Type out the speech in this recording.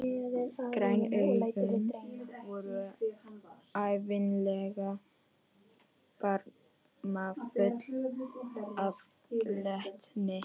Græn augun voru ævinlega barmafull af glettni.